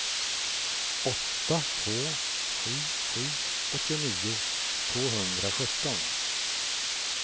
åtta två sju sju åttionio tvåhundrasjutton